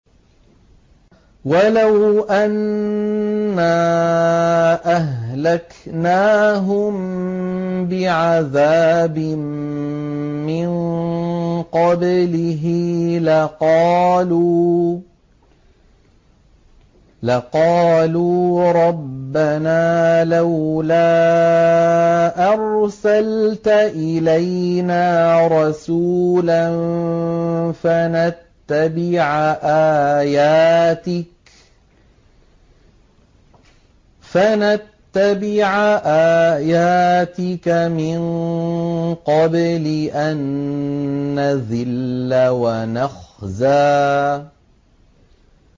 وَلَوْ أَنَّا أَهْلَكْنَاهُم بِعَذَابٍ مِّن قَبْلِهِ لَقَالُوا رَبَّنَا لَوْلَا أَرْسَلْتَ إِلَيْنَا رَسُولًا فَنَتَّبِعَ آيَاتِكَ مِن قَبْلِ أَن نَّذِلَّ وَنَخْزَىٰ